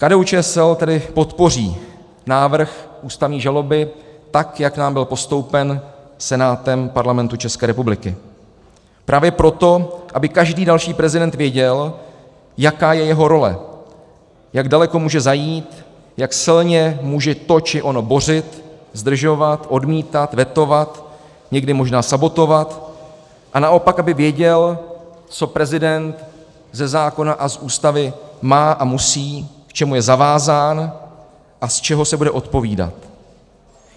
KDU-ČSL tedy podpoří návrh ústavní žaloby tak, jak nám byl postoupen Senátem Parlamentu České republiky, právě proto, aby každý další prezident věděl, jaká je jeho role, jak daleko může zajít, jak silně může to či ono bořit, zdržovat, odmítat, vetovat, někdy možná sabotovat, a naopak aby věděl, co prezident ze zákona a z Ústavy má a musí, k čemu je zavázán a z čeho se bude odpovídat.